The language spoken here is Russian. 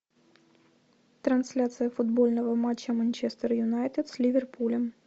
трансляция футбольного матча манчестер юнайтед с ливерпулем